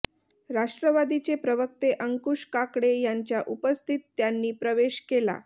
राष्ट्रवादीचे प्रवक्ते अंकुश काकडे यांच्या उपस्थितीत त्यांनी प्रवेश केला